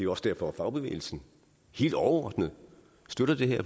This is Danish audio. også derfor at fagbevægelsen helt overordnet støtter det her